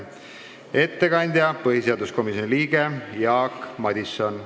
Ettekandja on põhiseaduskomisjoni liige Jaak Madison.